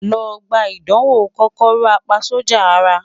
Lọ gba idanwo KòkòròApaSójà Ara